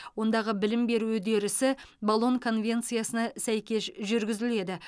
ондағы білім беру үдерісі болон конвенциясына сәйкес жүргізіледі